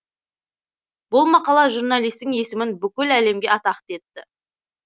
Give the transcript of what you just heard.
бұл мақала журналистің есімін бүкіл әлемге атақты етті